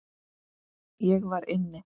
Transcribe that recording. Ég var inni.